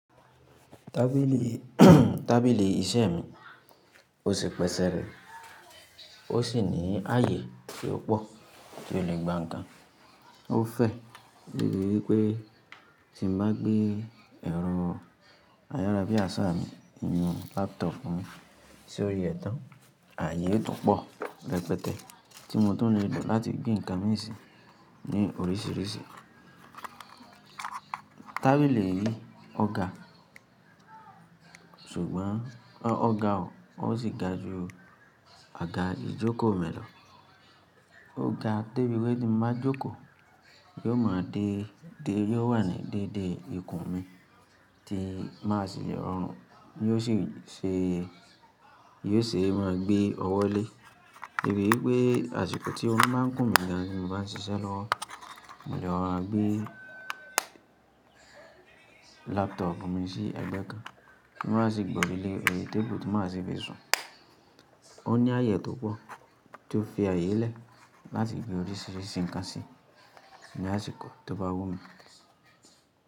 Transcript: Tábìlì, tábìlì iṣẹ́ mi ó ṣe pẹsẹ̀ rẹ ó sì ní àyè tó pọ̀ tí ó lè gba ǹkan. Ó fẹ́, torí pé tí mo bá gbé ẹ̀rọ ayárabíàṣá mi, inú laptop mi sí orí ẹ́ tán, àyè yí ó tún pọ̀ rẹpẹtẹ tí mo tó lè lò láti gbé ǹkan méjì ní oríṣìíríṣìí. Tábìlì yìí ọ ga, ṣùgbọ́n ọ ga o, ó sì ga ju ọ̀gá ìjókòó mi lọ. Ó ga tó bí wípé tí mo bá jókòó yóò máa dé, dé yóò wà ní dédé ikùn mi tí má sì le rọrùn, yóò sì ṣe, yóò sì máa gbé ọwọ́ lé. Torí pé àsìkò tí orún bá ń kùn mí gan tí mo bá ń ṣiṣẹ́ lọ́wọ́, mo lè rọra gbé laptop mi sí ẹgbẹ́ kan kí n má sì gborí lé èrè table tí màá sì fi sùn. Ó ní àyè tó pọ̀ tí ó fi ààyè lẹ́ láti gbé oríṣìíríṣìí ǹkan sí ní àsìkò tó bá wù mí.